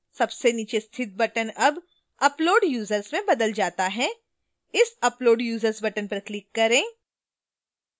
सबसे नीचे स्थित button अब upload users में बदल जाता है इस upload users button पर click करें